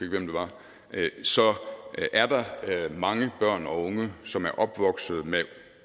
hvem det var så er der mange børn og unge som er opvokset med